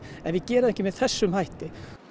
en við gerum það ekki með þessum hætti